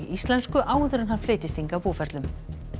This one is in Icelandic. íslensku áður en hann flytjist hingað búferlum